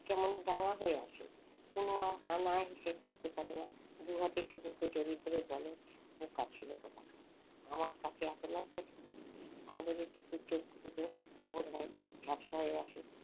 কেমন রাঙা হয়ে আছে। আর না হেসে থাকতে পারে না দুহাতে টুকুকে জড়িয়ে ধরে বলে বোকা ছেলে কোথাকার আমার কাছে এত লজ্জা কিসের আদরে টুকুর চোখ দুটো বোধহয় ঝাপসা হয়ে আসে।